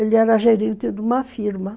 Ele era gerente de uma firma.